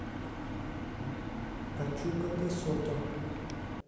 пачука де сото